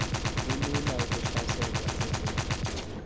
kulula ukuhlaselwa sisifo